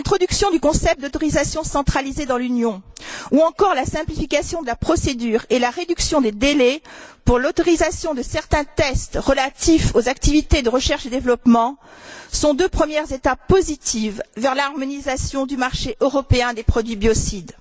L'introduction du concept d'autorisation centralisée dans l'Union, ou encore la simplification de la procédure et la réduction des délais pour l'autorisation de certains tests relatifs aux activités de recherche et développement, sont deux premières étapes positives vers l'harmonisation du marché européen des produits biocides.